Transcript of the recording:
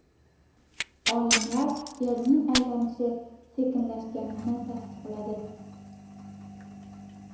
Olimlar Yerning aylanishi sekinlashganini tasdiqladi.